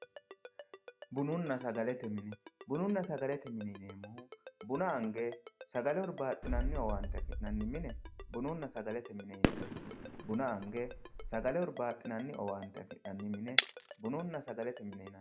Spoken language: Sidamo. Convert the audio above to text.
bununna sagalete mine bununna sagalete mine yineemmohu buna ange sagale hurbaaxinanni afi'nanni owante afi'nanni mine bununna sagalete mine yineemmo buna ange sagale hurbaaxinanni afi'nanni owante tenne bununna sagalete mine yinanni